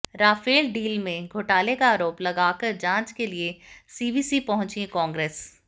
Rafale deal में घोटाले का आरोप लगाकर जांच के लिए सीवीसी पहुंची कांग्रेस